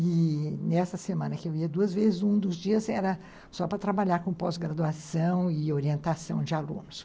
E nessa semana que eu ia duas vezes, um dos dias era só para trabalhar com pós-graduação e orientação de alunos.